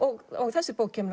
þessi bók kemur